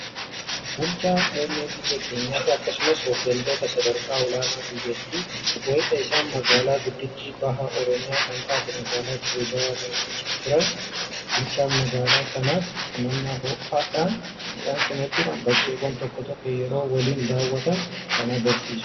Bulchaa muummee biyya keenyaafi akkasumas hooggantoota sadarkaa olaanoo biyyattii, wayita isaan magaalaa guddittii baha Oromiyaa kan taate magaalaa Dirree Dawaa daawwachaa turan. Bulchaan magaalaa sanaas simannaa ho'aadhaan isaan simachuun bakkeewwan tokko tokko yeroo waliin daawwatan kan argisiisudha.